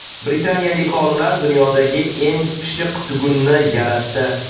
Britaniyalik olimlar dunyodagi eng pishiq tugunni yaratdi.